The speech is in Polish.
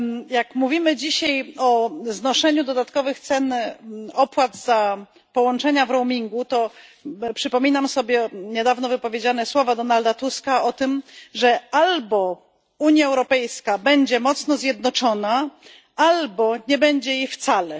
Jak mówimy dzisiaj o znoszeniu dodatkowych opłat za połączenia w roamingu, to przypominam sobie niedawno wypowiedziane słowa Donalda Tuska o tym, że albo Unia Europejska będzie mocno zjednoczona, albo nie będzie jej wcale.